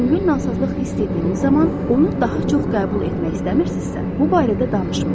Yüngül narahatlıq hiss etdiyimiz zaman onu daha çox qəbul etmək istəmirsizsə, bu barədə danışmayın.